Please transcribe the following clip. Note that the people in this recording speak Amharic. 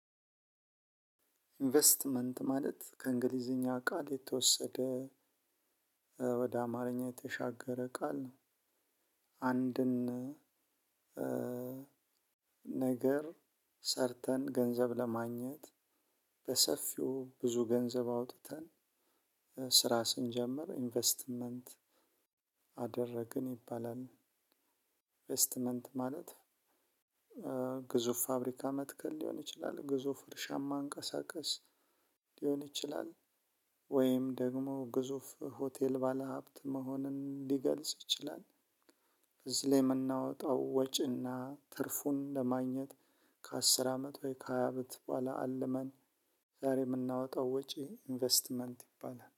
እንቬስትመንት ማለት ከእንግሊዝኛ ቃል የተወሰዳ ወደ አማርኛ የተሻገረ ቃል ነው። አንድን ነገር ሰርተን ገንዘብ ለማግኘት በሰፊው ብዙ ገንዘብ አውጥተን ስራ ስንጀምር ኢንቨስትመንት አደረግን ይባላል። ኢንቨስትመንት ማለት ግዙፍ ፋብሪካ መትከል ሊሆን ይችላል ግዙፍ እርሻ ማንቀሳቀስ ሊሆን ይችላል። ወይም ደግሞ ግዙፍ ሆቴል ባለሀብት መሆንን ሊገልጽ ይችላል። በዚህ ላይ የምናወጣው ወጪ እና ትርፉን ለማግኘት ከአስር አመት ወይ ከሃያ አመት ቡሃላ አልመን ዛሬ የምናወጣው ወጪ ኢንቨስትመንት ይባላል